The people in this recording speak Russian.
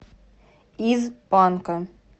из панка